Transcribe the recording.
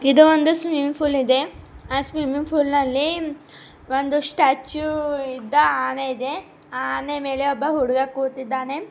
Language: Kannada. ಇದು ಒಂದು ಸ್ವಿಮ್ಮಿಂಗ್ ಪೂಲ್ ಇದೆ ಆ ಸ್ವಿಮ್ಮಿಂಗ್ ಪೂಲ್ ನಲ್ಲಿ ಒಂದು ಸ್ಟ್ಯಾಚ್ಯು ಇದ್ದ ಆನೆ ಇದೆ ಆನೆಯ ಮೇಲೆ ಒಬ್ಬ ಹುಡುಗ ಕೂತಿದ್ದಾನೆ.